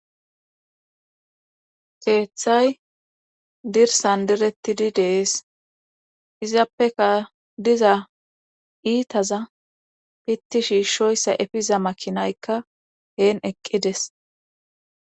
Keeththay dirsan derettidi dees izappeka diza iitaza pitti shiishoyssa efiza makinaykka heen eqqides.